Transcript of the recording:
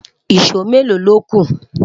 ìsọ Melo lóku?